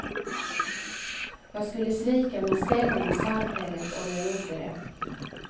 Jag skulle svika min ställning i samhället om jag gjorde det.